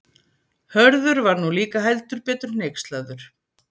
Hörður var nú líka heldur betur hneykslaður.